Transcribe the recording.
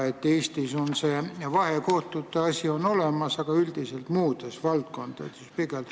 Eestis on vahekohtud olemas, aga üldiselt on nende valdkonnad pigem muud.